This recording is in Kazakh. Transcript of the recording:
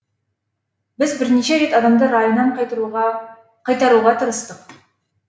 біз бірнеше рет адамды райынан қайтаруға тырыстық